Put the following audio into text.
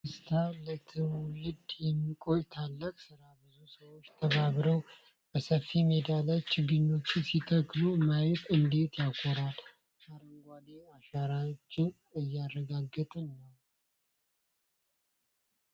አቤት ደስታ! ለትውልድ የሚቆይ ታላቅ ስራ! ብዙ ሰዎች ተባብረው በሰፊ ሜዳ ላይ ችግኞችን ሲተክሉ ማየት እንዴት ያኮራል! አረንጓዴ አሻራችንን እያረጋገጥን ነው!